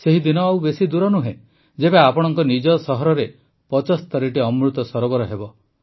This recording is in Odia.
ସେହି ଦିନ ଆଉ ବେଶୀ ଦୂର ନୁହେଁ ଯେବେ ଆପଣଙ୍କ ନିଜ ସହରରେ ୭୫ଟି ଅମୃତ ସରୋବର ହେବ